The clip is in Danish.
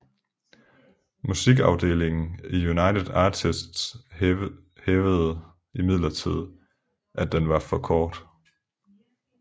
Musikafdelingen i United Artists hævdede imidlertid at den for kort